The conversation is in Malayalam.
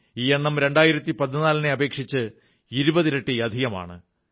ഈ എണ്ണം 2014 ലെതിനെ അപേക്ഷിച്ച് 20 ഇരട്ടി അധികമാണ്